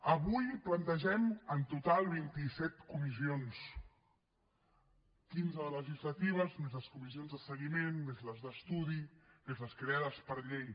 avui plantegem en total vint i set comissions quinze de legislatives més les comissions de seguiment més les d’estudi més les creades per llei